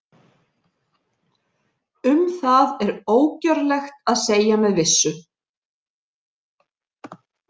Um það er ógjörlegt að segja með vissu.